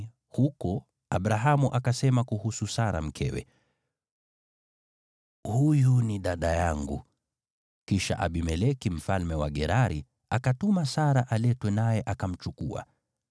huko Abrahamu akasema kuhusu Sara mkewe, “Huyu ni dada yangu.” Kisha Abimeleki mfalme wa Gerari akatuma Sara aletwe, naye akamchukua.